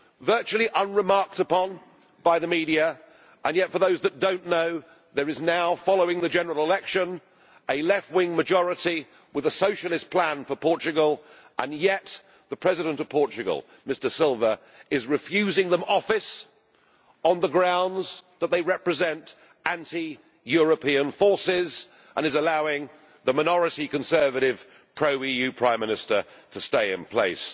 Virtually unremarked upon by the media, and yet, for those that do not know, there is now, following the general election, a left wing majority with a socialist plan for Portugal and yet the President of Portugal, Mr Silva, is refusing them office on the grounds that they represent anti European forces and is allowing the minority Conservative, pro EU Prime Minister to stay in place.